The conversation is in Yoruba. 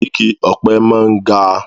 Igi ọ̀pẹ máa ń ga